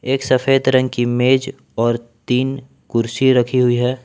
एक सफेद रंग की मेज और तीन कुर्सी रखी हुई है।